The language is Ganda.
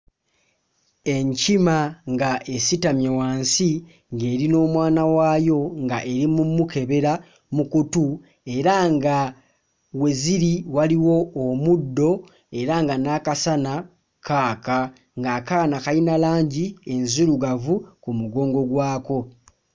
Enkima nga esitamye wansi ng'eri n'omwana waayo ng'eri mu mukebera mu kutu, era nga we ziri waliwo omuddo era nga n'akasana kaaka. Ng'akaana Kalina langi enzirugavu ku mugongo gwako.